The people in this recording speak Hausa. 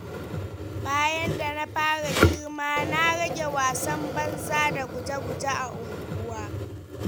Bayan da na fara girma na rage wasan banza da guje-guje a unguwa.